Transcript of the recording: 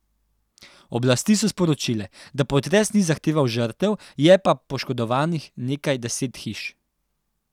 Oblasti so sporočile, da potres ni zahteval žrtev, je pa poškodovanih nekaj deset hiš.